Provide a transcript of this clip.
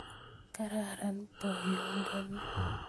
Kararan boyodoni